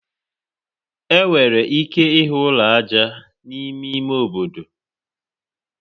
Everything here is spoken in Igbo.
Enwere ike ịhụ ụlọ aja n'ime ime obodo.